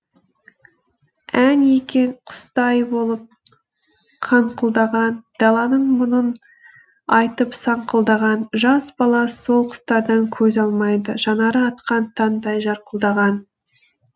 ән екен құстай болып қаңқылдаған даланың мұңын айтып саңқылдаған жас бала сол құстардан көз алмайды жанары атқан таңдай жарқылдаған